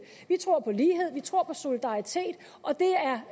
vi tror på lighed vi tror på solidaritet og det